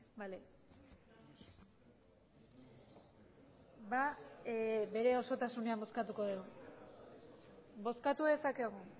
bale bere osotasunean bozkatuko dugu bozkatu dezakegu